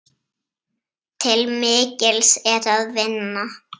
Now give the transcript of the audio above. Til mikils er að vinna.